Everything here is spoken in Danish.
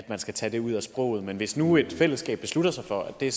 man skal tage ud at sproget men hvis nu et fællesskab beslutter sig for at det